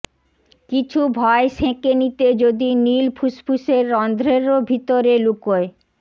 কিছু ভয় সেঁকে নিতে যদি নীল ফুসফুসের রন্ধ্রেরও ভিতরে লুকোয়